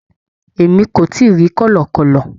Emi ko tii ri kọlọkọlọ